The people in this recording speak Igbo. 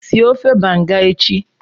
sie ofe Banga echi!